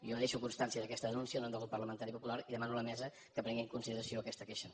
jo deixo constància d’aquesta denúncia en nom del grup parlamentari popular i demano a la mesa que prengui en consideració aquesta queixa